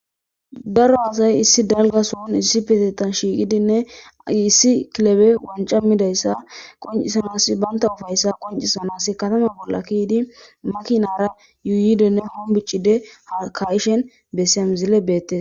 Daro asay issi dalga son issipetetan shiqidine issi kilebey wancca midayssa qoncisanaw makina bola keyidi yuyidinne honbocidi kayishn besiya misiley bettes.